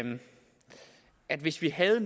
at hvis vi havde